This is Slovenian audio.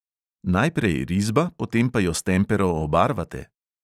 Najprej risba, potem pa jo s tempero obarvate?